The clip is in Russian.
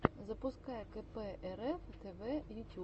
запускай кэпээрэф тэвэ ютюб